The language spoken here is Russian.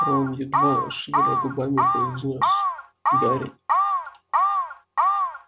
рон едва шевеля губами произнёс гарри